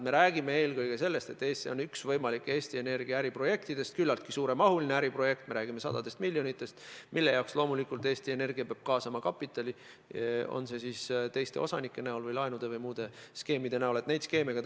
Me räägime eelkõige sellest, et see on üks võimalik Eesti Energia äriprojektidest, küllaltki suuremahuline äriprojekt: me räägime sadadest miljonitest, mille jaoks loomulikult Eesti Energia peab kaasama muud kapitali, on see siis teiste osanike kapital või laenud või teistsuguste skeemide abil kaasatud raha.